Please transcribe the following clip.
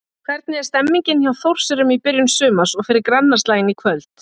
Hvernig er stemningin hjá Þórsurum í byrjun sumars og fyrir grannaslaginn í kvöld?